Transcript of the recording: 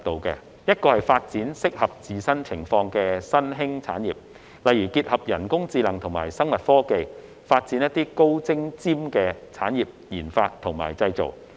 第一是發展適合自身情況的新興產業，例如結合人工智能與生物科技，發展"高精尖"的產業研發與製造。